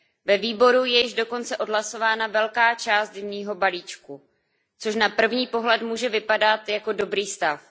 Ve výboru je již dokonce odhlasována velká část zimního balíčku, což na první pohled může vypadat jako dobrý stav.